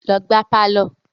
Lọ gbá á pálọ̀!